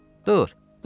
Dur, dur gedək.